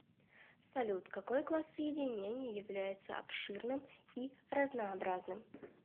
салют какой класс соединений является обширным и разнообразным